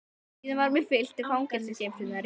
Síðan var mér fylgt í fangageymslurnar í